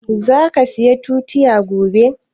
Za ka saya tutiya gobe?